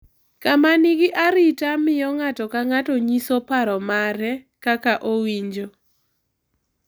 Kama nigi arita miyo ng’ato ka ng’ato nyiso paro mare, kaka owinjo,